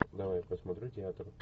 давай посмотрю театр